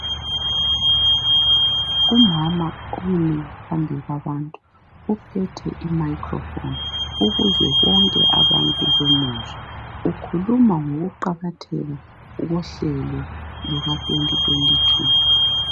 Umama umi phambi kwabantu uphethe i microphone ukuze bonke abantu bemuzwe, ukhuluma ngokuqakatheka kohlelo luka 2022.